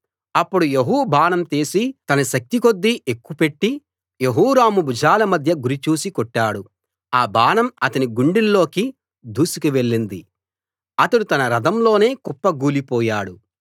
అప్పుడు యెహూ బాణం తీసి తన శక్తి కొద్దీ ఎక్కుపెట్టి యెహోరాము భుజాల మధ్య గురి చూసి కొట్టాడు ఆ బాణం అతని గుండెల్లోకి దూసుకు వెళ్ళింది అతడు తన రథంలోనే కుప్పగూలిపోయాడు